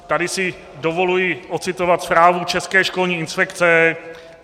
Tady si dovoluji ocitovat zprávu České školní inspekce.